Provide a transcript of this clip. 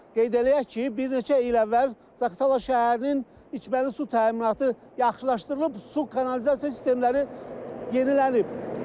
Qeyd eləyək ki, bir neçə il əvvəl Zaqatala şəhərinin içməli su təminatı yaxşılaşdırılıb, su kanalizasiya sistemləri yenilənib.